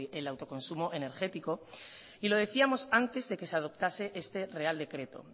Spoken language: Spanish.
el autoconsumo energético y lo decíamos antes de que se adoptase este real decreto